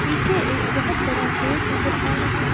पीछे एक बहुत बड़ा पेड़ नजर आ रहा है।